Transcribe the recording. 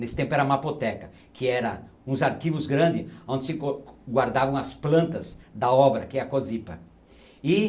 Nesse tempo era mapoteca, que era uns arquivos grande onde se co... guardavam as plantas da obra, que é a cosipa. E...